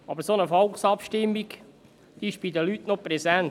Aber eine solche Volksabstimmung ist bei den Leuten noch präsent.